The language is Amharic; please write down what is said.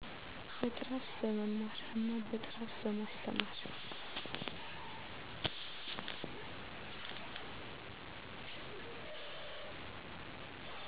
በጥራት በመማር እና በጥራት በማስተማር